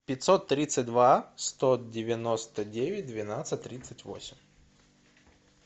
пятьсот тридцать два сто девяносто девять двенадцать тридцать восемь